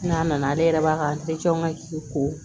N'a nana ale yɛrɛ b'a ka ko